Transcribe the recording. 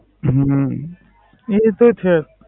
હમ ના એ તો છે જ